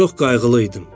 Çox qayğılı idim.